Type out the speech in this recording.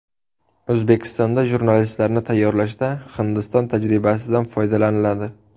O‘zbekistonda jurnalistlarni tayyorlashda Hindiston tajribasidan foydalaniladi .